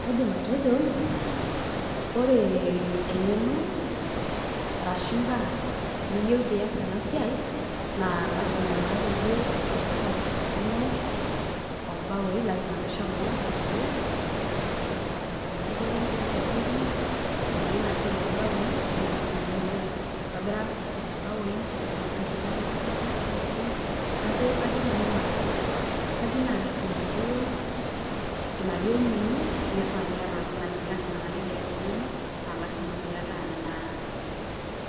Kaidim atejo ore eng'eno arashu imbaak niyiwu pias ena siai naa lazima naa peyie iyata eng'eno oo mbaoi, lazima piishomo sukuul aisomea akeyie enkiti polytechnic aisomea akeyie ina siai oo mbaoi piitumoki naa ayeu aitobira nena baoi nitum aitobira inkajijik oo mbaoi neeku nanu ina, ina duo, ina duo ing'wno nifaa niata oltung'ani. Lazima niata naake eng'eno naa lazima piata naa